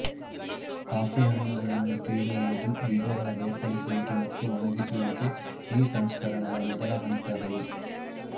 coffee ಹಣ್ಣುಗಳನ್ನು ಕೀಳುವುದು ಬೀಜಗಳ ಬೇರ್ಪಡಿಸುವಿಕೆ ಮತ್ತು ಒಣಗಿಸುವಿಕೆ ಈ ಸಂಸ್ಕರಣದ ಮೊದಲ ಹಂತಗಳು